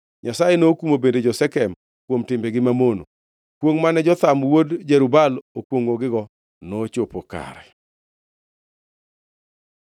Nyasaye nokumo bende jo-Shekem kuom timbegi mamono. Kwongʼ mane Jotham wuod Jerub-Baal okwongʼogigo nochopo kare.